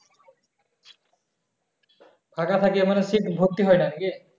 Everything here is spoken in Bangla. ফাকা থেকে মানে seat ভর্তি হয় না কি